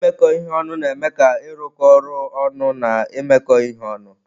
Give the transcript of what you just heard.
Imekọ ihe ọnụ na-eme ka ịrụkọ ọrụ ọnụ na imekọ ihe ọnụ.